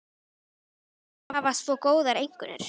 Maður þarf að hafa svo góðar einkunnir.